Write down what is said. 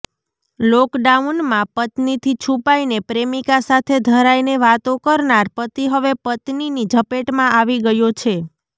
લોકડાઉનમાં પત્નીથી છૂપાઈને પ્રેમિકા સાથે ધરાઈને વાતો કરનાર પતિ હવે પત્નીની ઝપેટમાં આવી ગયો છે